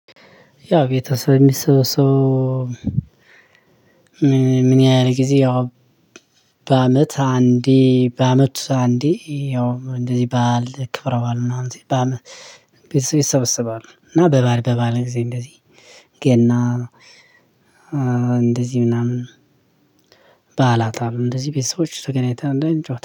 ያው ቤተሰብ የሚሰበሰበው ምን ያህል ጊዜ ያው በአመት አንዴ በአመት አንዴ ያው እንደዚህ በዓል ክብረ በዓል ምናምን በአመት ይሰበስባሉ። እና በበኣል በበዓል ጊዜ እንደዚህ ገና እንደዚህ ምናምን በአላታም እንደዚህ ቤተሰቦች ተገናኝተን አንዳንድ ጨዋታ